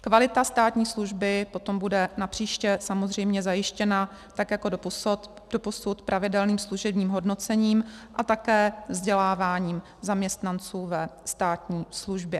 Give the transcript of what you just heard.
Kvalita státní služby potom bude napříště samozřejmě zajištěna tak jako doposud pravidelným služebním hodnocením a také vzděláváním zaměstnanců ve státní službě.